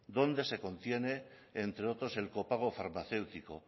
donde se contiene entre otros el copago farmacéutico